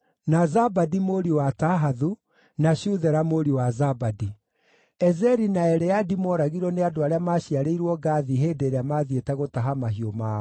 na Zabadi aarĩ mũriũ wa Tahathu, nake Shuthela aarĩ mũriũ wa Zabadi. Ezeri na Eleadi mooragirwo nĩ andũ arĩa maaciarĩirwo Gathi hĩndĩ ĩrĩa maathiĩte gũtaha mahiũ mao.